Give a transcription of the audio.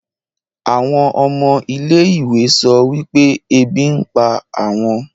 àwọn ọmọ ilé-ìwé sọ wípé ebi ń pa àwọn